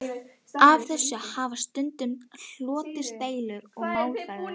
Af þessu hafa stundum hlotist deilur og málaferli.